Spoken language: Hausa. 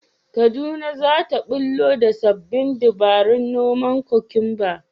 Kaduna za ta ɓullo da sabbin dabarun noman kwakumba